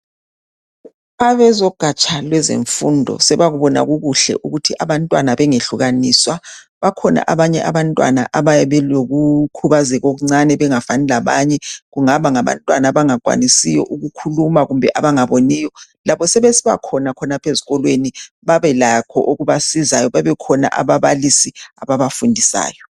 Abezogatsha lwezemfundo sebakubona kukuhle ukuthi abantwana bengehlukaniswa bakhona abanye abantwana abayabe belokhubazeka okuncane bengafani labanye, kungaba ngabantwana abangakwanisiyo ukukhuluma kumbe abangaboniyo labo sebesibakhona khonapha ezikolweni babelakho okubasizayo babe khona ababalisi ababafundisayo.